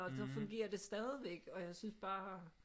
Og så fungerer det stadigvæk og jeg synes bare